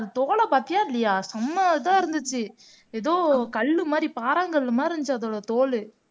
தோல பாத்தியா இல்லையா சம்ம இதா இருந்துச்சு ஏதோ கல்லு மாரி பாராங்கல்லு மாரி இருந்துச்சு அதோட தோலு